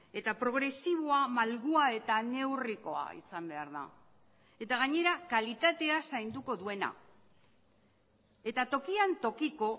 eta progresiboa malgua eta neurrikoa izan behar da eta gainera kalitatea zainduko duena eta tokian tokiko